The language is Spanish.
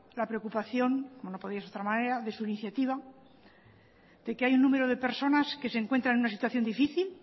la preocupación como no podía ser de otra manera de su iniciativa de que hay un número de personas que se encuentran en una situación difícil